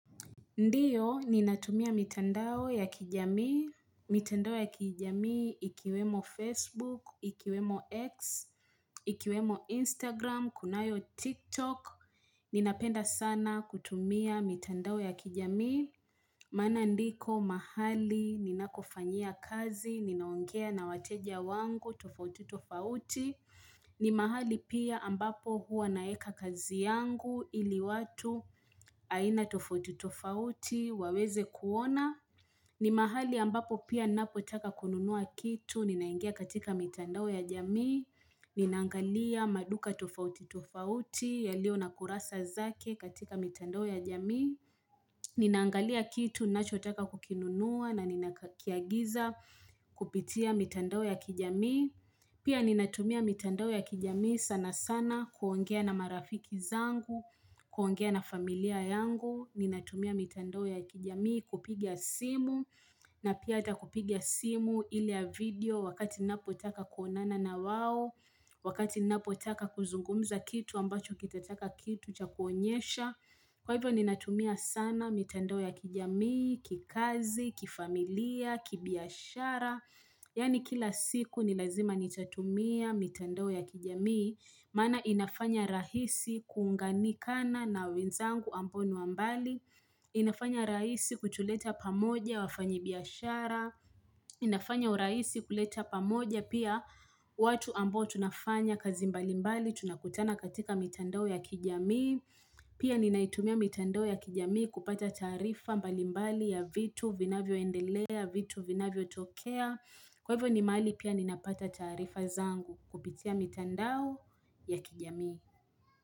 Ndio, ninatumia mitandao ya kijamii, mitandao ya kijamii, ikiwemo Facebook, ikiwemo X, ikiwemo Instagram, kunayo TikTok, ninapenda sana kutumia mitandao ya kijamii. Maana ndiko mahali ninakofanyia kazi, ninaongea na wateja wangu, tofauti, tofauti. Ni mahali pia ambapo huwa naeka kazi yangu, ili watu aina tofauti, tofauti, waweze kuona. Ni mahali ambapo pia ninapotaka kununua kitu, ninaingia katika mitandao ya jamii. Ninaangalia maduka tofauti, tofauti, yaliyo na kurasa zake katika mitandao ya jamii. Ninaangalia kitu, nachotaka kukinunua na ninakiagiza kupitia mitandao ya kijamii Pia ninatumia mitandao ya kijami sana sana kuongea na marafiki zangu, kuongea na familia yangu Ninatumia mitandao ya kijamii kupiga simu na pia hata kupiga simu ile ya video wakati napotaka kuonana na wao Wakati ninapotaka kuzungumza kitu ambacho kitataka kitu cha kuonyesha Kwa hivyo ni natumia sana mitandao ya kijamii, kikazi, kifamilia, kibiashara Yani kila siku ni lazima ni tatumia mitandao ya kijamii Maana inafanya rahisi kuunganikana na wenzangu ambao ni wa mbali inafanya rahisi kutuleta pamoja wafanyibiashara inafanya urahisi kuleta pamoja pia watu ambao tunafanya kazi mbalimbali tunakutana katika mitandoo ya kijamii Pia ninaitumia mitandao ya kijami kupata taarifa mbalimbali ya vitu vinavyoendelea vitu vinavyotokea Kwa hivyo ni mahali pia ninapata taarifa zangu kupitia mitandao ya kijamii.